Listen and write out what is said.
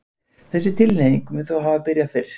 þessi tilhneiging mun þó hafa byrjað fyrr